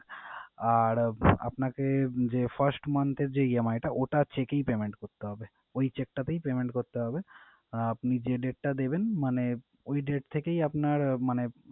আর আপনাকে যে first month এর যে EMI টা ওটা cheque এই payment করতে হবে। ওই cheque টাতেই payment করতে হবে। আর আপনি যে date টা দেবেন মানে ওই date থেকেই আপনার মানে,